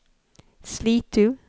Slitu